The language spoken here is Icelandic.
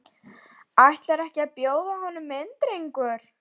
Og ætlarðu ekki að bjóða honum inn drengur?